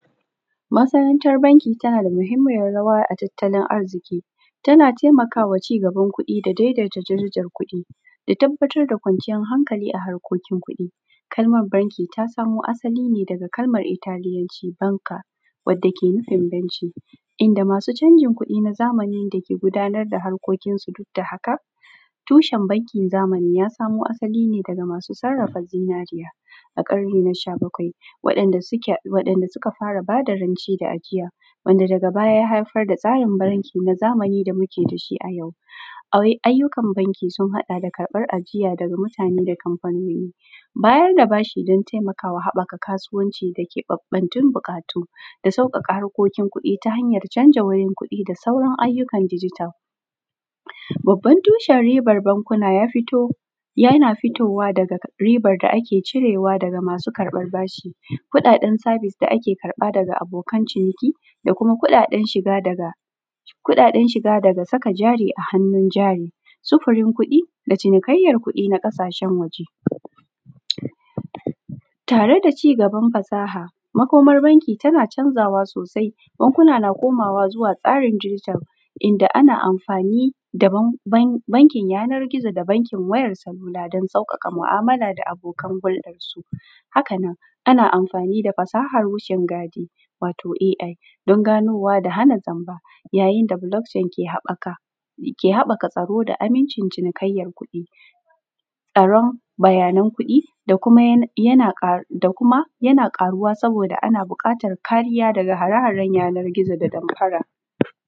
Masana’antar banki tanada mahimmiyar rawa a tattalin arziƙi tana taimakawa cigaban kuɗi da daidaita darajar kuɗi da tabbatar da kwanciyar hankali a harkokin kuɗi. Kalmar banki ta samo asali ne daga Kalmar italiyanci banka wadda ke nufin banki inda masu canjin kuɗi na zamani dake gudanar da harkokinsu dukda haka. Tushen bankin zamani ya samo asali ne daga masu sarrafa zinariya a ƙarni na shabakwai waɗan da suka fara bada rance da ajiya wanda daga baya ya haifar da tsarin banki wanda muke dashi ayau. Ayyukan banki sun haɗa da karɓan ajiya daga mutane da kamfanoni, bayar da bashi dan taimakawa haɓaka kasuwanci da keɓattatun buƙatu da sauƙaƙa harkokin kuɗi ta hanyan canja wanin kuɗi da sauran hanyoyin ayyukan dijital. Babbar tushen ribar bankuna yana fitowa yana fitowa daga ribar da ake cirewa daga masu karɓar bashi, ko ɗaɗan sabis da ake da ake karɓa daga abokan ciniki kuma kuɗaɗen shiga dada saka jari a hannun jari. Sufurin kuɗi da cinikayyar kuɗi na ƙasashen waje, tare da cigabar fasaha makomar banki tana canzawa sosai bankuna na koma tsarin zuwa tsarin dijital inda ana amfani da tsarin yanar gizo da bankin wayar salula dan sauƙaƙa mu’amala da abokan hurɗan su. Hakanan ana amfani da fasahan wucin gadi wato ei dan ganowa da hana zamba ya yinda bulok cain ke haɓaka tsaro da amincin cinikayyan kuɗi, tsaron bayanan kuɗi da kuma yana karuwa saboda ana buƙatar kariya daga hare haren yanar gizo da damfara.